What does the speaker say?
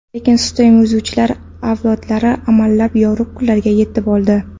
Lekin sutemizuvchilar avlodlari amallab yorug‘ kunlarga yetib oldi.